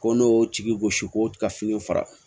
Ko n'o y'o tigi gosi ko ka finiw fara